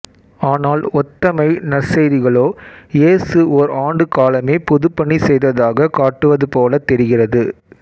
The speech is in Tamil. ஆனால் ஒத்தமை நற்செய்திகளோ இயேசு ஓர் ஆண்டுக் காலமே பொதுப்பணி செய்ததாகக் காட்டுவதுபோலத் தெரிகிறது